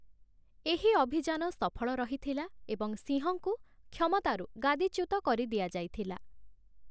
ଏହି ଅଭିଯାନ ସଫଳ ରହିଥିଲା ଏବଂ ସିଂହଙ୍କୁ କ୍ଷମତାରୁ ଗାଦିଚ୍ୟୁତ କରି ଦିଆଯାଇଥିଲା ।